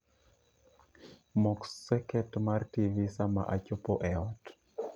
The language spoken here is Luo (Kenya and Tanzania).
Mok seket mar tivi sama achopo eot